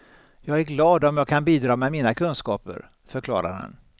Jag är glad om jag kan bidra med mina kunskaper, förklarar han.